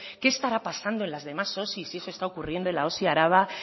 qué estará pasando en las demás osis si se está ocurriendo en la osi araba